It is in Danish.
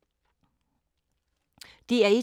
DR1